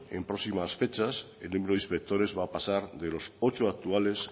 en próximas fechas el número de inspectores va a pasar de los ocho actuales